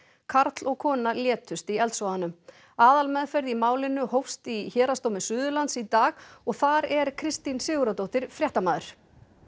karl og kona létust í eldsvoðanum aðalmeðferð í málinu hófst í Héraðsdómi Suðurlands í dag og þar er Kristín Sigurðardóttir fréttamaður